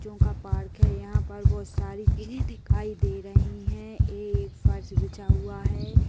चों का पार्क है। यहाँ पर बहोत सारी दिखाई दे रहीं हैं। ये एक फर्श बिछा हुआ है।